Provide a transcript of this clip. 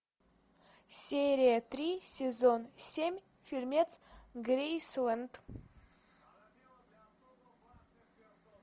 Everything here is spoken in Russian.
серия три сезон семь фильмец грейсленд